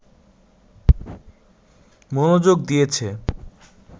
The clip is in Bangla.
মনোযোগ দিয়েছে